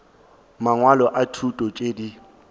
mangwalo a thuto tšeo di